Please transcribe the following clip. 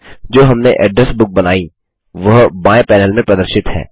जो हमने address book बनाई वह बाएँ पैनल में प्रदर्शित है